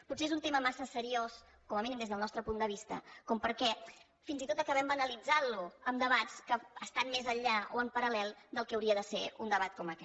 potser és un tema massa seriós com a mínim des del nostre punt de vista perquè fins i tot acabem banalitzant lo amb debats que estan més enllà o en paral·lel del que hauria de ser un debat com aquest